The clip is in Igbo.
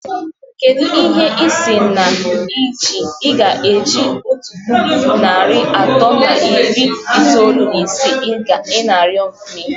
Kedu ihe ị sị na ị ga-eji otu puku na narị atọ na iri itoolu na isii ị na-arịọ mee?